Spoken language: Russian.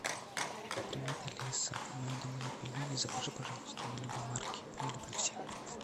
привет алиса у меня дома нет пельменей закажи пожалуйста мне любой марки я люблю все